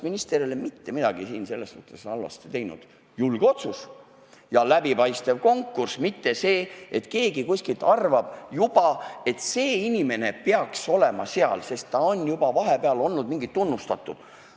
Minu meelest ei ole minister selles suhtes mitte midagi halvasti teinud – julge otsus ja läbipaistev konkurss, mitte nii, et keegi kuskil arvab, et see inimene peaks olema seal, sest ta on juba vahepeal olnud tunnustatud.